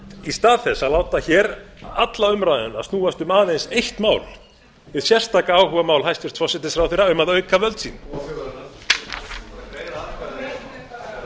í stað þess að láta hér alla umræðuna snúast um aðeins eitt mál hið sérstaka áhugamál hæstvirtur forsætisráðherra um að auka völd sín greiðum atkvæði núna forseti biður um hljóð í þingsalnum